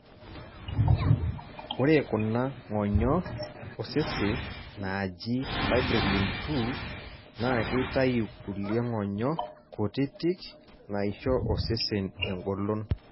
ore kuna ngonyo oseses naaji fibrillin 2 na keitayu kulie ng'onyo kutitik naisho osesen egolon.